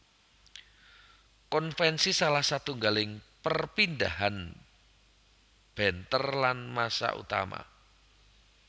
Konvensi salah satunggaling perpindahan benter lan massa utama